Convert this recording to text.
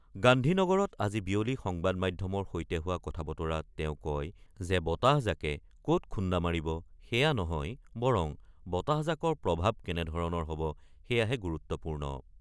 গান্ধীনগৰত আজি বিয়লি সংবাদ মাধ্যমৰ সৈতে হোৱা কথাবতৰাত তেওঁ কয় যে বতাহজাকে ক'ত খুন্দা মাৰিব সেয়া নহয় বৰং বতাহজাকৰ প্ৰভাৱ কেনেধৰণৰ হব সেয়াহে গুৰুত্বপূৰ্ণ।